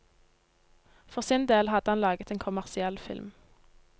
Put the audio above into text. For sin del hadde han laget en kommersiell film.